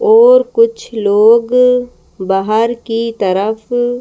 और कुछ लोग बाहर की तरफ--